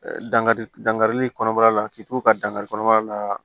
Dankari dankari kɔnɔbara la k'i to ka dankari kɔnɔbara la